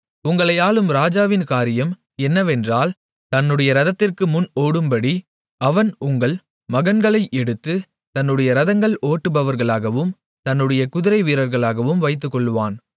உங்களை ஆளும் ராஜாவின் காரியம் என்னவென்றால் தன்னுடைய ரதத்திற்கு முன் ஓடும்படி அவன் உங்கள் மகன்களை எடுத்து தன்னுடைய ரதங்களை ஓட்டுபவர்களாகவும் தன்னுடைய குதிரை வீரர்களாகவும் வைத்துக்கொள்ளுவான்